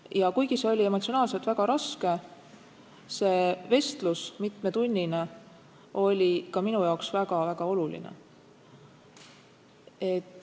Ja kuigi see mitmetunnine vestlus oli emotsionaalselt väga raske, oli see ka minu jaoks väga-väga oluline.